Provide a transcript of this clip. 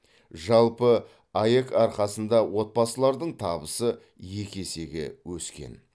жалпы аәк арқасында отбасылардың табысы екі есеге өскен